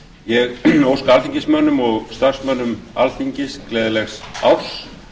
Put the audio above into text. ég óska alþingismönnum og starfsmönnum alþingis gleðilegs árs